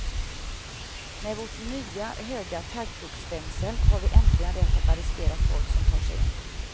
Med vårt nya, höga taggtrådsstängsel har vi äntligen rätt att arrestera folk som tar sig in.